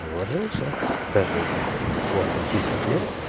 ложился каждый там условное десять лет